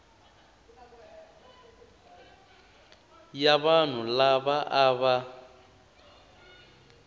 ya vanhu lava a va